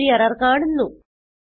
നമ്മൾ ഒരു എറർ കാണുന്നു